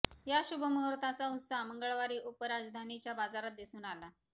या शुभ मुहूर्ताचा उत्साह मंगळवारी उपराजधानीच्या बाजारात दिसून आला